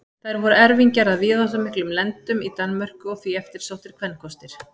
þær voru erfingjar að víðáttumiklum lendum í danmörku og því eftirsóttir kvenkostir